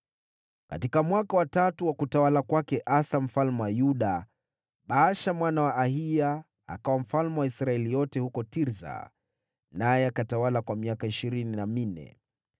Katika mwaka wa tatu wa utawala wa Asa mfalme wa Yuda, Baasha mwana wa Ahiya akawa mfalme wa Israeli yote huko Tirsa, naye akatawala kwa miaka ishirini na minne.